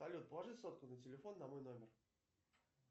салют положи сотку на телефон на мой номер